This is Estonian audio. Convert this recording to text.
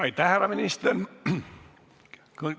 Aitäh, härra minister!